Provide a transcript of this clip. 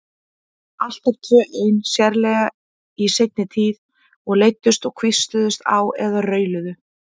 Alltaf tvö ein, sérlega í seinni tíð, og leiddust og hvísluðust á eða rauluðu.